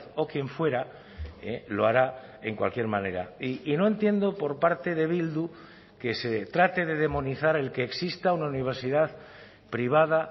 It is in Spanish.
o quien fuera lo hará en cualquier manera y no entiendo por parte de bildu que se trate de demonizar el que exista una universidad privada